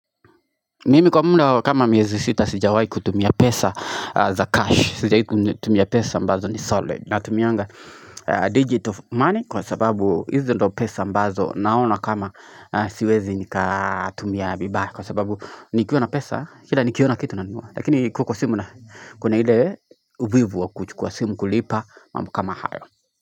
Nimi kwa muda wa kama miezi sita sijawahi kutumia pesa za cash, sijawahi tumia pesa ambazo ni solid Natumianga digital money kwa sababu hizi ndio pesa ambazo naona kama siwezi nikatumia vibaya Kwa sababu nikiwa na pesa, kila nikiona kitu nanunua Lakini ikiwa kwa simu kuna ile uvivu wa kuchukua simu kulipa mambo kama hayo.